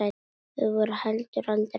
Þau voru heldur aldrei hrædd.